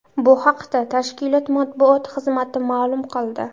Bu haqda tashkilot matbuot xizmati ma’lum qildi .